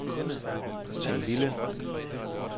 Tim Bille